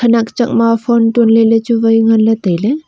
khenak chakma phone tonley lechu wai nganley tailey.